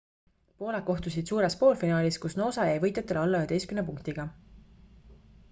pooled kohtusid suures poolfinaalis kus noosa jäi võitjatele alla 11 punktiga